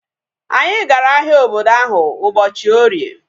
Anyi gara ahịa obodo ahu ụbọchị orie